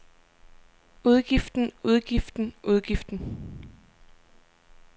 udgiften udgiften udgiften